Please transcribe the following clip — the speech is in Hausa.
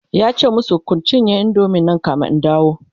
yace masu "Kun cinye indomie Nan kamin in dawo!"